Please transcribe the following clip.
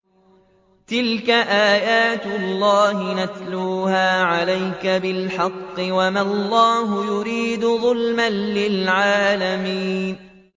تِلْكَ آيَاتُ اللَّهِ نَتْلُوهَا عَلَيْكَ بِالْحَقِّ ۗ وَمَا اللَّهُ يُرِيدُ ظُلْمًا لِّلْعَالَمِينَ